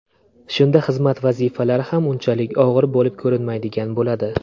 Shunda xizmat vazifalari ham unchalik og‘ir bo‘lib ko‘rinmaydigan bo‘ladi.